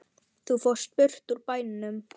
Þú fórst burt úr bænum.